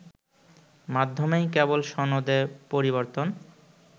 মাধ্যমেই কেবল সনদে পরিবর্তন